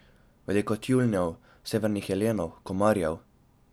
Veliko tjulnjev, severnih jelenov, komarjev ...